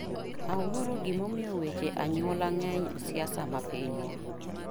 Awuoro gimomiyo weche anyuola ngeny siasa ma pinywa.